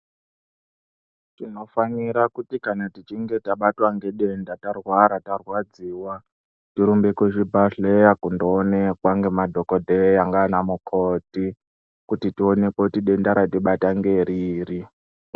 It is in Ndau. Tinofanira kuti kana tichinge tabatwa ngedenda tarwara tarwadziwa, torumbe kuzvibhadhleya kundoonekwa ngemadhokodheya ngaana mukoti kuti tionekwe kuti denda ratibata ngeriri.